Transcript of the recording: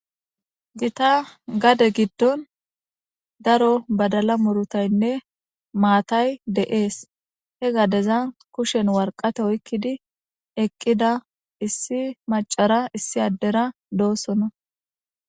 Gita gade giddon daro badala murutaynne maatay de7ees he gadezan kushen warqate oyqqidi eqqida issi macara issi addera doosona.